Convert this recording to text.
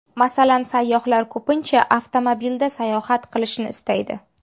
Masalan, sayyohlar ko‘pincha avtomobilda sayohat qilishni istaydi.